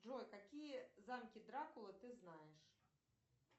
джой какие замки дракулы ты знаешь